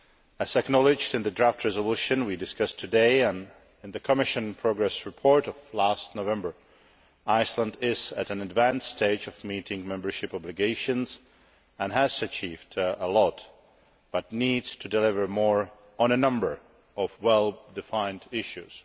As acknowledged in the draft resolution we discussed today, and in the Commission progress report of last November, Iceland is at an advanced stage of meeting membership obligations and has achieved a great deal, but it needs to deliver more on a number of well defined issues.